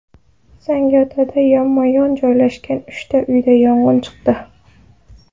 Zangiotada yonma-yon joylashgan uchta uyda yong‘in chiqdi.